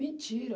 Mentira.